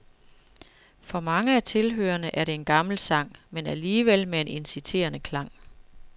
For mange af tilhørerne er det en gammel sang, men alligevel med en inciterende klang.